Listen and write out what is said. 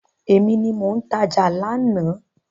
Èmi ni mo tajà lánàá.